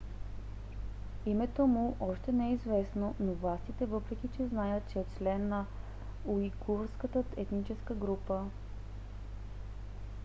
името му още не е известно на властите въпреки че знаят че е член на уйгурската етническа група